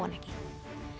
hann ekki